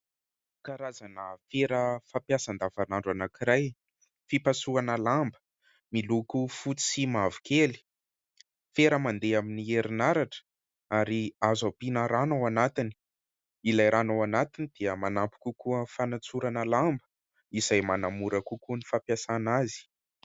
Karazana fera fampiasa andavanandro anankiray. Fipasohana lamba, miloko fotsy sy mavokely, fera mandeha amin'ny herinaratra ary azo asiana rano ao anatiny ; ilay rano ao anatiny dia manampy kokoa amin'ny fanatsorana lamba izay manamora kokoa ny fampiasàna azy.